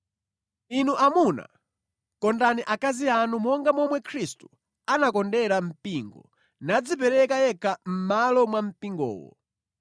Inu amuna, kondani akazi anu monga momwe Khristu anakondera mpingo nadzipereka yekha mʼmalo mwa mpingowo